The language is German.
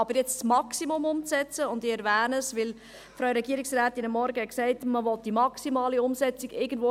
Aber jetzt das Maximum zu machen – und ich erwähne das, weil die Frau Regierungsrätin heute Morgen sagte, man wolle die maximale Umsetzung ...